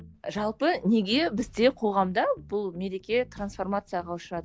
жалпы неге бізде қоғамда бұл мереке трансформацияға ұшырады